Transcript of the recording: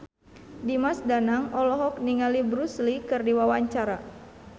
Dimas Danang olohok ningali Bruce Lee keur diwawancara